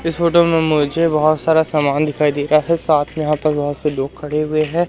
इस फोटो में मुझे बहुत सारा सामान दिखाई दे रहा है साथ में यहां पर बहुत से लोग खड़े हुए है।